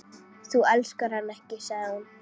Þú elskar hann ekki, sagði hún.